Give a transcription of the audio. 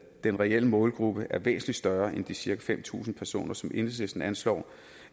den reelle målgruppe er væsentlig større end de cirka fem tusind personer som enhedslisten anslår